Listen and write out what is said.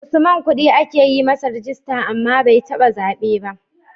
Usman kudi ake yi masa rijista, amma bai taba zabe ba.